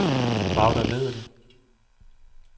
Magda Vedel